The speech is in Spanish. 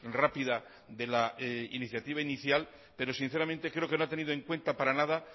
rápida de la iniciativa inicial pero sinceramente creo que no ha tenido en cuenta para nada